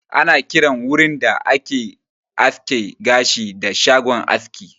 Ana kiran wurin da ake aske gashi da "shagon aski"